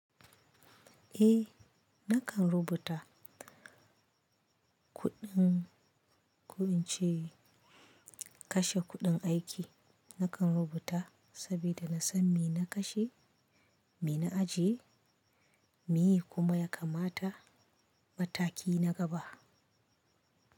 Eh nakan rubuta kuɗin, ko ince kashe kuɗin aiki nakan rubuta saboda na san me na kashe, me na ajiye, miye kuma ya kamata mataki na gaba.